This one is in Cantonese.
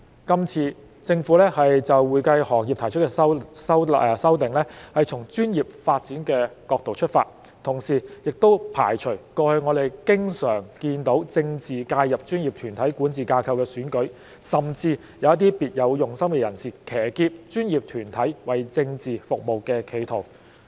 今次政府就會計行業提出的修訂，是從專業發展的角度出發，同時也排除了過去我們經常看到政治介入專業團體管治架構的選舉，甚至有一些別有用心的人，騎劫專業團體為政治服務的企圖。